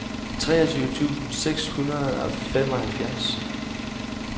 treogtyve tusind seks hundrede og femoghalvfjerds